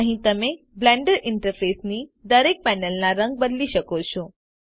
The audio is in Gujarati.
અહીં તમે બ્લેન્ડર ઈન્ટરફેસની દરેક પેનલના રંગ બદલી શકો છો